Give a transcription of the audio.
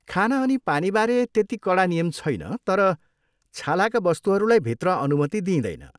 खाना अनि पानीबारे त्यति कडा नियम छैन तर छालाका वस्तुहरूलाई भित्र अनुमति दिँइदैन।